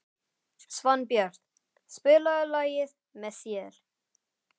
Svanbjört, spilaðu lagið „Með þér“.